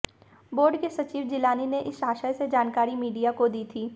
board के सचिव जीलानी ने इस आशय से जानकारी मीडिया को दी थी